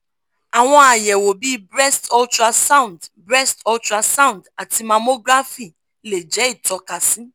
àwọn àyẹ̀wò bí breast ultrasound breast ultrasound àti mammography lè jẹ́ ìtókasí